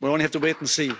we only have to wait and see.